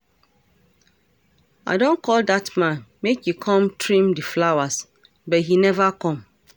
I don call dat man make he come trim the flowers but he never come